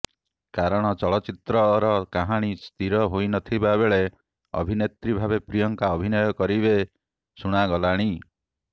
କାରଣ ଚଳଚ୍ଚିତ୍ରର କାହାଣୀ ସ୍ଥିର ହୋଇନଥିବାବେଳେ ଅଭିନେତ୍ରୀ ଭାବେ ପ୍ରିୟଙ୍କା ଅଭିନୟ କରିବେ ଶୁଣାଗଲାଣି